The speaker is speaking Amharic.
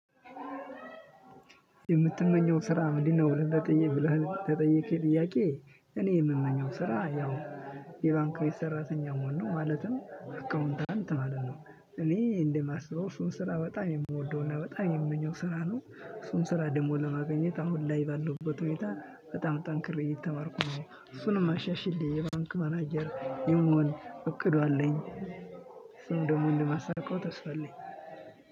የምትመኘው ስራ ምንድነው? ብለህ ለጠየከኝ ጥይቄ እኔ የምመኘው ስራ ያው የባንክ ቤት ሰራተኛ መሆን ነው ማለትም አካውንታንት ማለት ነው። እኔ እንደማስበው እሱን ስራ በጣም የምወደውና በጣም የምመኘው ስራ ነው። እሱን ስራ ደግሞ ለማግኘት አሁን ላይ ባለውበት ሁኔታ በጣም ጠንክሬ እየተማርኩ ነው እሱንም አሻሽሌ የባንክ ማናጀር የመሆን እቅዱ አለኝ። እሱንም ደግሞ እንደማሳካው ተስፋ አለኝ።